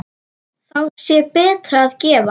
Þá sé betra að gefa.